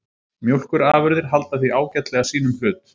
Mjólkurafurðir halda því ágætlega sínum hlut